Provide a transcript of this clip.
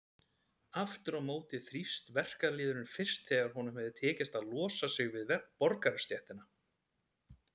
Aftur á móti þrífst verkalýðurinn fyrst þegar honum hefur tekist að losa sig við borgarastéttina.